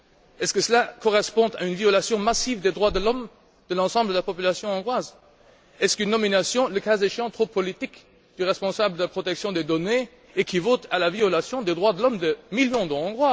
Est ce que cela correspond à une violation massive des droits de l'homme de l'ensemble de la population hongroise? Est ce qu'une nomination, le cas échéant trop politique du responsable de la protection des données équivaut à la violation des droits de l'homme de millions de Hongrois?